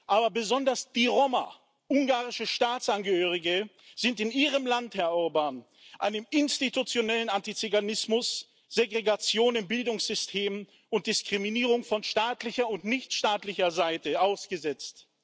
Aber besonders die Roma, ungarische Staatsangehörige, sind in Ihrem Land, Herr Orbán, einem institutionellen Antiziganismus, Segregation im Bildungssystem und Diskriminierung von staatlicher und nichtstaatlicher Seite ausgesetzt.